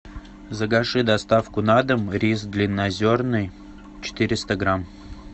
закажи доставку на дом рис длиннозерный четыреста грамм